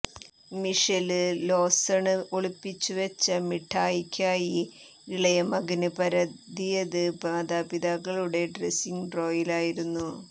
Michelle Lawson ഒളിപ്പിച്ചു വെച്ച മിഠായിക്കായി ഇളയ മകന് പരതിയത് മാതാപിതാക്കളുടെ ഡ്രസിങ് ഡ്രോയറിലായിരുന്നു